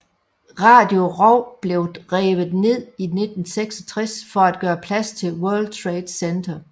Radio Row blev revet ned i 1966 for at gøre plads til World Trade Center